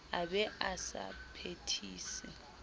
a be a sa phethise